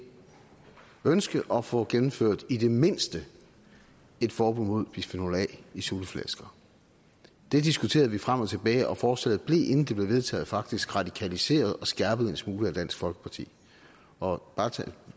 ønske at få gennemført i det mindste et forbud mod bisfenol a i sutteflasker det diskuterede vi frem og tilbage og forslaget blev inden det blev vedtaget faktisk radikaliseret og skærpet en smule af dansk folkeparti og